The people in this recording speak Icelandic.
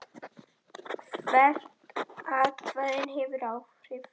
Jú, afi, ég man.